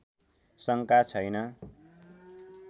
शङ्का छैन